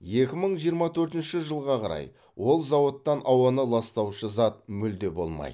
екі мың жиырма төртінші жылға қарай ол зауытта ауаны ластаушы зат мүлде болмайды